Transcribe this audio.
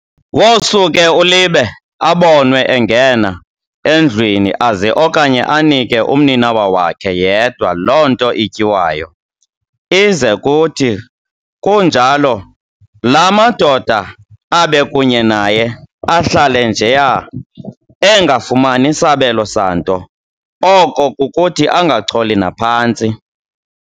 Wosuke uLibe abonwe engena endlwini aze okanye anike umninawa wakhe yedwa loo nto ityiwayo, ize kuthi kunjalo laa madoda abekunye naye ahlale njeya, engafumani sabelo santo, oko kukuthi angacholi naphantsi.